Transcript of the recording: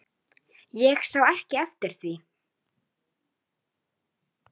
Ég sá ekki eftir því.